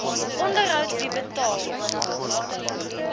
onderhoud wie betaal